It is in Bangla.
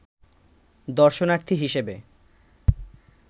দর্শনার্থী হিসেবে